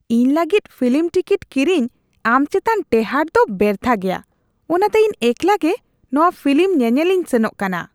ᱤᱧ ᱞᱟᱹᱜᱤᱫ film ticket ᱠᱤᱨᱤᱧ ᱟᱢ ᱪᱮᱛᱟᱱ ᱴᱮᱦᱟᱴ ᱫᱚ ᱵᱮᱨᱛᱷᱟ ᱜᱮᱭᱟ, ᱚᱱᱟᱛᱮ ᱤᱧ ᱮᱠᱞᱟ ᱜᱮ ᱱᱚᱶᱟ ᱯᱷᱤᱞᱤᱢ ᱧᱮᱧᱮᱞᱤᱧ ᱥᱮᱱᱚᱜ ᱠᱟᱱᱟ ᱾